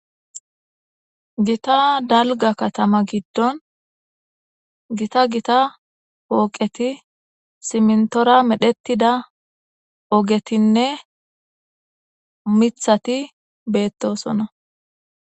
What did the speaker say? Gita dalga katama giddon gita gita pooqeti simntora medhettida ogetinne mithati beettosona.